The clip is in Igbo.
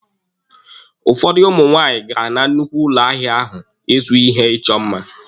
Ụfọdụ ụmụ nwaanyị gara na nnukwu ụlọ ahịa ahụ ịzụ ihe ịchọ mma.